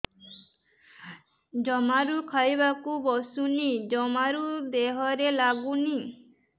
ଜମାରୁ ଖାଇବାକୁ ବସୁନି ଜମାରୁ ଦେହରେ ଲାଗୁନି